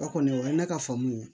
O kɔni o ye ne ka faamu ye